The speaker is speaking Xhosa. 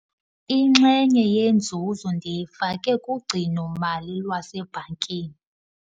Inxenye yenzuzo ndiyifake kugcino-mali lwasebhankini.